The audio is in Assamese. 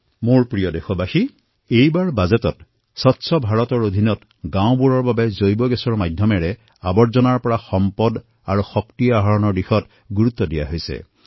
মোৰ মৰমৰ দেশবাসীসকল এইবাৰ বাজেটত স্বচ্ছ ভাৰতৰ অন্তৰ্গত গাওঁসমূহৰ বাবে বায়গেছৰ মাধ্যমত ৱাস্তে ত ৱেল্থ আৰু ৱাস্তে ত এনাৰ্জি নিৰ্মাণ কৰাৰ ক্ষেত্ৰত জোৰ দিয়া হৈছে